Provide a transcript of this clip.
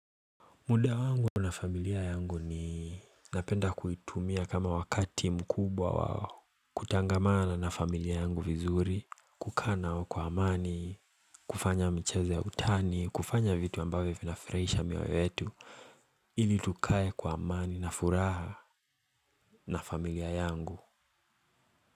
Muda wangu na familia yangu ni napenda kuitumia kama wakati mkubwa wa kutangamana na familia yangu vizuri, kukaa nao kwa amani, kufanya michezo ya utani, kufanya vitu ambavyo vinafurahisha mioyo yetu, ili tukae kwa amani na furaha na familia yangu.